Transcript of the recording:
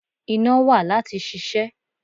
Iná wà láti ṣiṣẹ́.